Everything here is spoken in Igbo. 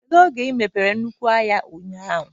Kedu oge ị mepere nnukwu ụlọ ahịa ụnyaahụ?